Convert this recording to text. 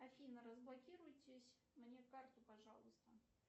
афина разблокируйтесь мне карту пожалуйста